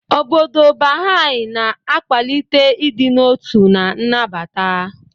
Obodo Baha'i na-akwalite ịdị n'otu na nnabata.